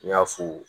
N y'a fo